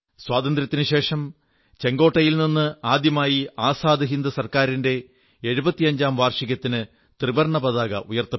സ്വാതന്ത്ര്യത്തിനുശേഷം ചുവപ്പ് കോട്ടയിൽ നിന്ന് ആദ്യമായി ആസാദ് ഹിന്ദ് സർക്കാരിന്റെ 75 ാം വാർഷികത്തിന് ത്രിവർണ്ണപതാക ഉയർത്തി